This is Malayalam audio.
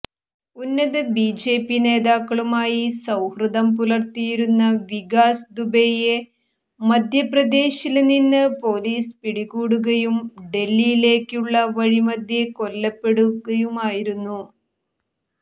ഉന്നത ബിജെപി നേതാക്കളുമായി സൌഹൃദം പുലര്ത്തിയിരുന്ന വികാസ് ദുബെയെ മധ്യപ്രദേശില് നിന്ന് പോലിസ് പിടികൂടുകയും ഡല്ഹിയിലേക്കുള്ള വഴിമധ്യേ കൊല്ലപ്പെടുകയുമായിരുന്നു